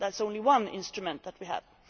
That is only one instrument that we have.